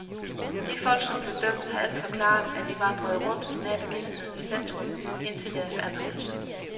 De folk, som blev dømt, har alle forklaret, at de vandrede rundt nær begivenhedernes centrum indtil deres anholdelse.